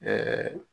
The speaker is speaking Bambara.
Ɛɛ